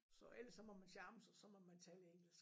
Så ellers så må man charme sig så må man tale engelsk